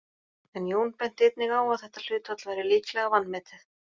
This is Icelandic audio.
En Jón benti einnig á að þetta hlutfall væri líklega vanmetið.